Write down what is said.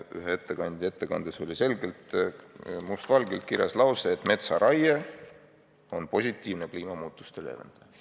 Ühe ettekandja ettekandes oli must valgel kirjas lause, et metsaraie on positiivne kliimamuutuste leevendaja.